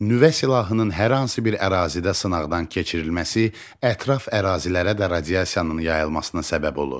Nüvə silahının hər hansı bir ərazidə sınaqdan keçirilməsi ətraf ərazilərə də radiasiyanın yayılmasına səbəb olur.